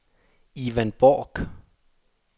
Ivan Borch